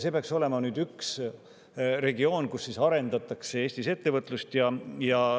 See peaks olema üks regioon, kus arendatakse Eestis ettevõtlust.